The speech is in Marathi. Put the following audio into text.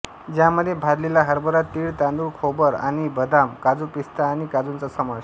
ज्यामध्ये भाजलेला हरभरा तीळ तांदूळ खोबर आणि बदाम काजू पिस्ता आणि काजूंचा समावेश आहे